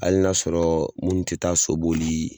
Hali n'a sɔrɔ munnu ti taa so boli